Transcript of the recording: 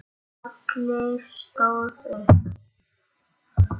Halli stóð upp.